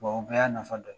o bɛɛ y'a nafa dɔ ye